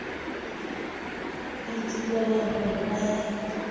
itebala ho re ba ya